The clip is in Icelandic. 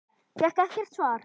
Fékk ekkert svar.